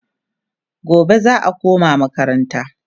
gobe za'a koma makaranta